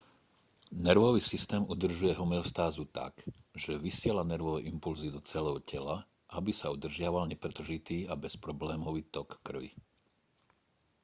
nervový systém udržuje homeostázu tak že vysiela nervové impulzy do celého tela aby sa udržiaval nepretržitý a bezproblémový tok krvi